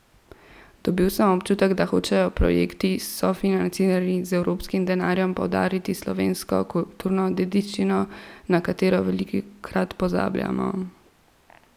Dobil sem občutek, da hočejo projekti, sofinancirani z evropskim denarjem, poudariti slovensko kulturno dediščino, na katero velikokrat pozabljamo.